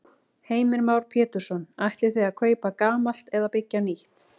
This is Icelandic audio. Heimir Már Pétursson: Ætlið þið að kaupa gamalt eða byggja nýtt?